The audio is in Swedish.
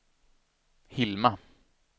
Hilma